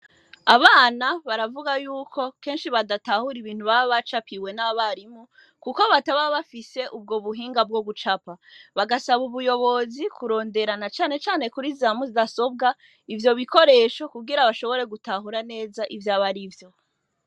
Abana baravuga yuko kenshi badatahura ibintu baba bacapiwe n'abarimu, kuko bataba bafise ubwo buhinga bwo gucapa, bagasaba ubuyobozi kurondera na canecane kuri za mudasobwa ivyo bikoresho kugira bashobore gutahura neza ivy'abarivyo.